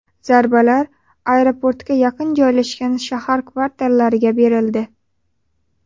Zarbalar aeroportga yaqin joylashgan shahar kvartallariga berildi.